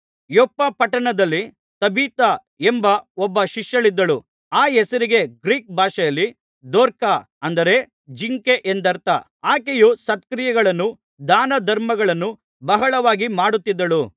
ಯೊಪ್ಪ ಪಟ್ಟಣದಲ್ಲಿ ತಬಿಥಾ ಎಂಬ ಒಬ್ಬ ಶಿಷ್ಯಳಿದ್ದಳು ಆ ಹೆಸರಿಗೆ ಗ್ರೀಕ್ ಭಾಷೆಯಲ್ಲಿ ದೊರ್ಕ ಅಂದರೆ ಜಿಂಕೆ ಎಂದರ್ಥ ಆಕೆಯು ಸತ್ಕ್ರಿಯೆಗಳನ್ನೂ ದಾನಧರ್ಮಗಳನ್ನೂ ಬಹಳವಾಗಿ ಮಾಡುತ್ತಿದ್ದಳು